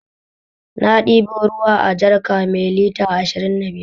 Na ɗebo ruwa a jarka mai lita ashirin da biyar